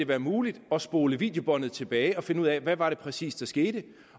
være muligt at spole videobåndet tilbage og finde ud af hvad der præcis skete